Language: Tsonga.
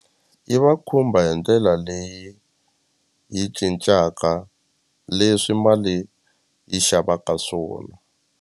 Yi va khumba hi ndlela leyi yi cincaka leswi mali yi xavaka swona.